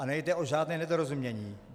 Ale nejde o žádné nedorozumění.